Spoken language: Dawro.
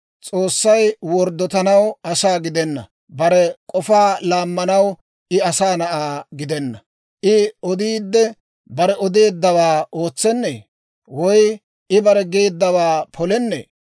S'oossay worddotanaw asaa gidenna; bare k'ofaa laammanaw I asaa na'aa gidenna. I odiidde, bare odeeddawaa ootsenee? Woy I bare geeddawaa polennee?